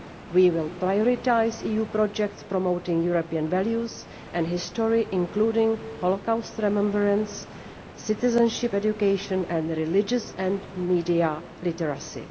We will prioritise EU projects promoting European values and history, including Holocaust remembrance, citizenship education and religious and media literacy.